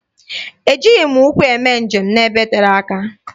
E jighị ụkwụ eme njem n'ebe tere aka.